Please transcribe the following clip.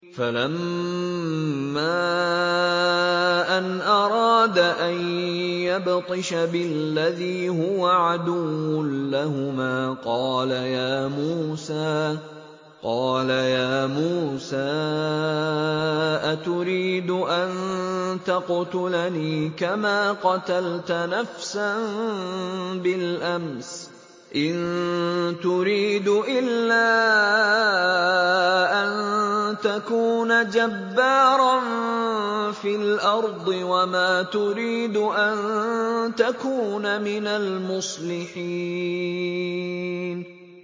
فَلَمَّا أَنْ أَرَادَ أَن يَبْطِشَ بِالَّذِي هُوَ عَدُوٌّ لَّهُمَا قَالَ يَا مُوسَىٰ أَتُرِيدُ أَن تَقْتُلَنِي كَمَا قَتَلْتَ نَفْسًا بِالْأَمْسِ ۖ إِن تُرِيدُ إِلَّا أَن تَكُونَ جَبَّارًا فِي الْأَرْضِ وَمَا تُرِيدُ أَن تَكُونَ مِنَ الْمُصْلِحِينَ